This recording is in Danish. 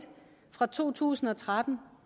fra to tusind og tretten